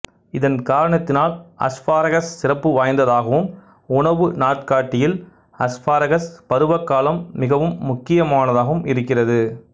இதன் காரணத்தினால் அஸ்பாரகஸ் சிறப்பு வாய்ந்ததாகவும் உணவு நாட்காட்டியில் அஸ்பாரகஸ் பருவக்காலம் மிகவும் முக்கியமானதாகவும் இருக்கிறது